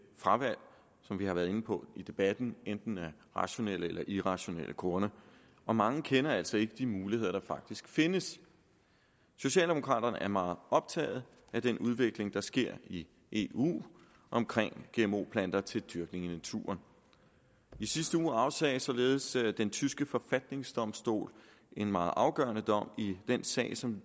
fravalg som vi har været inde på i debatten enten af rationelle eller irrationelle grunde og mange kender altså ikke de muligheder der faktisk findes socialdemokraterne er meget optaget af den udvikling der sker i eu omkring gmo planter til dyrkning i naturen i sidste uge afsagde således den tyske forfatningsdomstol en meget afgørende dom i den sag som